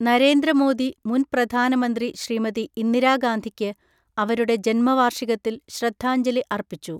നരേന്ദ്ര മോദി മുൻ പ്രധാനമന്ത്രി ശ്രീമതി ഇന്ദിരാ ഗാന്ധിക്ക് അവരുടെ ജന്മവാർഷികത്തിൽ ശ്രദ്ധാഞജലി അർപ്പിച്ചു.